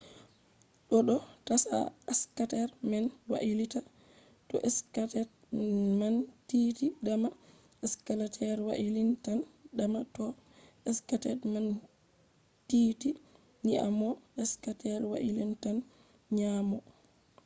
do do dasa skater man wailita. to skates man tiiti dama skater wailintan dama toh skates man tiiti nyaamo skater wailitan nyaamo